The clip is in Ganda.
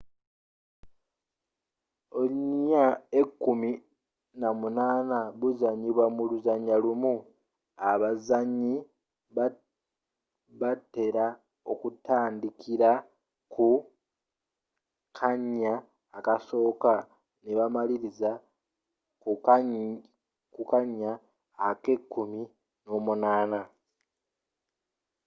ounya ekumi n'omunaana buzanyiba mu luzannya lumu abazanyi batela okutandikila ku kannya akasooka nebamaliliza ku kanya akekumi n'omunaana